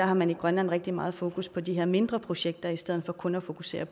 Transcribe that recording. har man i grønland rigtig meget fokus på de her mindre projekter i stedet for kun at fokusere